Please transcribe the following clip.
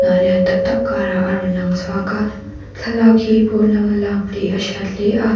tak tak kharah a rawn lang chhuak a thlalak hi pawn lama lak tih a hriat hle a--